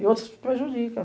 E outras que prejudica.